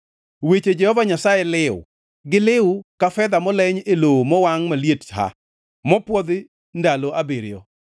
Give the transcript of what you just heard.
Weche Jehova Nyasaye liw, giliw ka fedha moleny e lowo mowangʼ maliet ha, mopwodhi ndalo abiriyo.